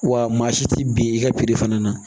Wa maa si tɛ bin i ka fana na